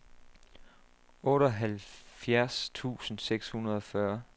otteoghalvfjerds tusind seks hundrede og fyrre